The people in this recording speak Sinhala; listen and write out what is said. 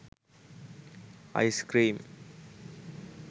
ice cream